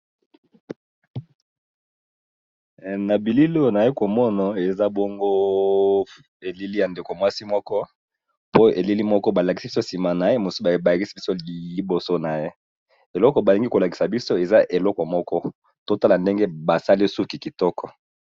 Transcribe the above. Na bililo na ye komono eza bongo elili ya ndeko mwasi moko po elili moko balakisi biso nsima na ye mosuba ebakisi biso liboso na ye eloko balingi kolakisa biso eza eloko moko totala ndenge basali suki kitoko.